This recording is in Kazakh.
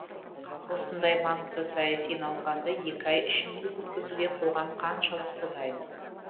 осындай маңызды саяси науқанды екі ай ішінде өткізуге қоғам қаншалықты дайын